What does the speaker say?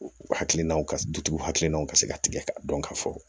Hakilinaw ka dutigiw hakilinaw ka se ka tigɛ k'a dɔn ka fɔ